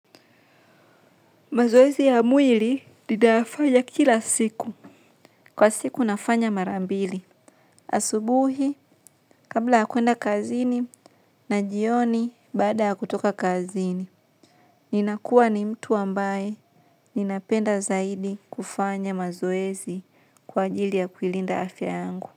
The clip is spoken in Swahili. Mazoezi ya mwili ninafanya kila siku. Kwa siku nafanya marambili. Asubuhi, kabla yakwenda kazini na jioni baada yakutoka kazini. Ninakuwa ni mtu ambaye ninapenda zaidi kufanya mazoezi kwa ajili ya kuilinda afya yangu.